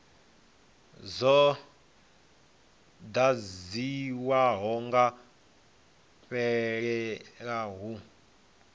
dzo ḓadziwaho dza fhelela hu